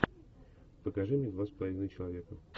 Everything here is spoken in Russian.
покажи мне два с половиной человека